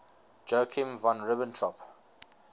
joachim von ribbentrop